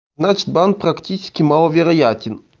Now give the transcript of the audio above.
значит бан практически маловероятен